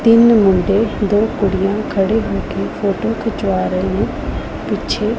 ਤਿੰਨ ਮੁੰਡੇ ਦੋ ਕੁੜੀਆਂ ਖੜੇ ਹੋ ਕੇ ਫੋਟੋ ਖਿੱਚਵਾ ਰਹੇ ਪਿੱਛੇ।